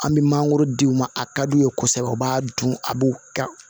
An bɛ mangoro di u ma a ka d'u ye kosɛbɛ u b'a dun a b'u ka